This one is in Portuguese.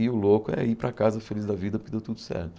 E o louco é ir para casa feliz da vida porque deu tudo certo.